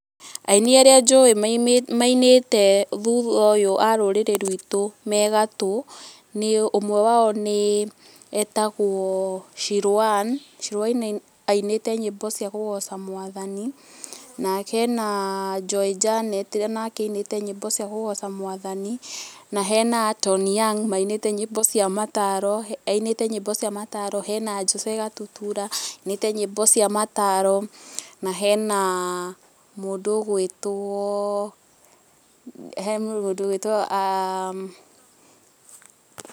Aini arĩa njũĩ mainĩte thutha ũyũ a rũrĩrĩ rwitũ me gatũ, nĩ ũmwe wao nĩ, etagwo Shirũ Anne. Shirũ Anne ainĩte nyĩmbo cia kũgoca mwathani. Na hena Joy Janet o nake ainĩte nyĩmbo cia kũgooca mwathani, na hena Tony Young, mainĩte nyĩmbo cia mataro, ainĩte nyĩmbo cia maataro, hena Jose Gatutura, ainĩte nyĩmbo cia mataro, na hena mũndũ ũgwĩtwo he mũndũ ũgwĩtwo